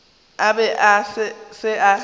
a be a se sa